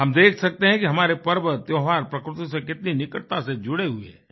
हम देख सकते हैं हमारे पर्व त्योहार प्रकृति से कितनी निकटता से जुड़े हुए हैं